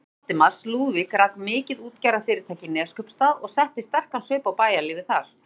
Bróðir Valdimars, Lúðvík, rak mikið útgerðarfyrirtæki í Neskaupsstað og setti sterkan svip á bæjarlífið þar.